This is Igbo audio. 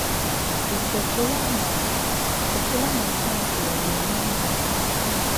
Ị̀ chètùlà ma chètùlà ma Chìnékè ọ̀ ga-eme ihe?